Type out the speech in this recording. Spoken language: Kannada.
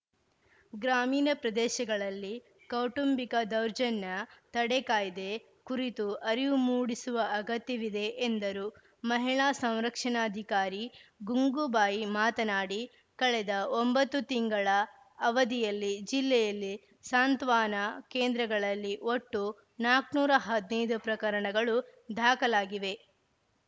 ಗ್ರಾಮೀಣ ಪ್ರದೇಶಗಳಲ್ಲಿ ಕೌಟುಂಬಿಕ ದೌರ್ಜನ್ಯ ತಡೆ ಕಾಯ್ದೆ ಕುರಿತು ಅರಿವು ಮೂಡಿಸುವ ಅಗತ್ಯವಿದೆ ಎಂದರು ಮಹಿಳಾ ಸಂರಕ್ಷಣಾಧಿಕಾರಿ ಗುಂಗುಬಾಯಿ ಮಾತನಾಡಿ ಕಳೆದ ಒಂಬತ್ತು ತಿಂಗಳ ಅವಧಿಯಲ್ಲಿ ಜಿಲ್ಲೆಯಲ್ಲಿ ಸಾಂತ್ವಾನ ಕೇಂದ್ರಗಳಲ್ಲಿ ಒಟ್ಟು ನಾಲ್ಕುನೂರ ಹದಿನೈದು ಪ್ರಕರಣಗಳು ದಾಖಲಾಗಿವೆ